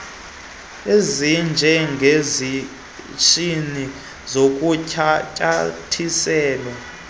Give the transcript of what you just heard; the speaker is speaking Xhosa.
esinje ngesitshizi sakuncanyathiselwa